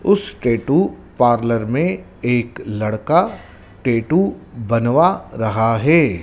उस tattoo parlour में एक लड़का टैटू बनवा रहा है।